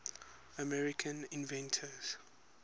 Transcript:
american inventors